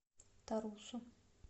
тарусу